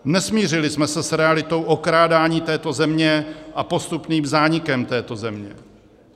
Nesmířili jsme se s realitou okrádání této země a postupným zánikem této země.